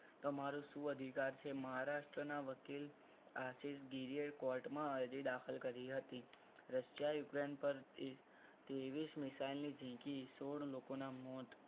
તમારું શું અધિકાર છે મહારાષ્ટ્રના વકીલ આશિષ ગિરીએ court માં અરજી દાખલ કરી હતી. રશિયા યુક્રેન પર ત્રેવીસ મિસાઇલ જીંકી સોળ લોકો ના મોત